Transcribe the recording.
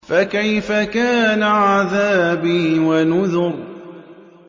فَكَيْفَ كَانَ عَذَابِي وَنُذُرِ